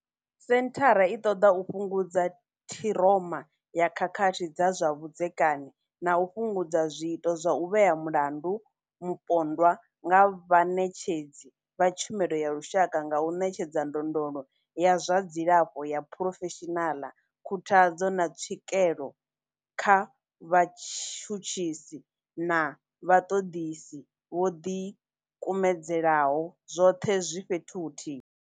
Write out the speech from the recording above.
Senthara i ṱoḓa u fhungudza ṱhiroma ya khakhathi dza zwa vhudzekani na u fhungudza zwiito zwa u vhea mulandu mupondwa nga vhaṋetshedzi vha tshumelo ya lushaka nga u ṋetshedza ndondolo ya zwa dzilafho ya phurofeshinala, khuthadzo, na tswikelo kha vhatshutshisi na vhaṱoḓisi vho ḓikumedzelaho, zwoṱhe zwi fhethu huthihi.